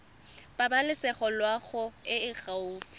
pabalesego loago e e gaufi